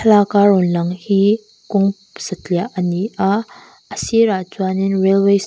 laka rawn lang hi kawng satliah a ni a a sirah chuanin railway ss--